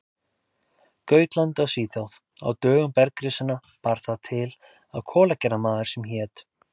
Gautlandi í Svíþjóð: Á dögum bergrisanna bar það til að kolagerðarmaður sem hét